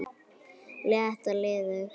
létt og liðug